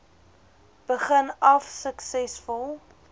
begin af suksesvol